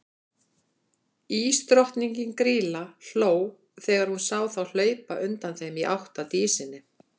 Ísdrottningin, Grýla, hló þegar hún sá þá hlaupa undan þeim í átt að Dísinni.